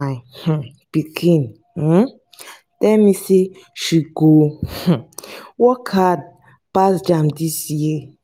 my um pikin um tell me say she go um work hard pass jamb dis year